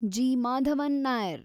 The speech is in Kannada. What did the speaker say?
ಜಿ. ಮಾಧವನ್ ನೈರ್